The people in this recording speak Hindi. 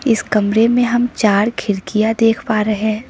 इस कमरे में हम चार खिड़कियां देख पा रहे--